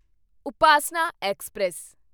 Upasana express